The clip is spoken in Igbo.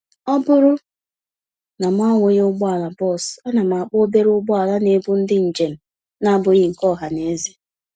Ọbụrụ na mụ ahụghị ụgbọala bus, ánám akpọ obere ụgbọala n'ebu ndị njèm n'abụghị nke ohaneze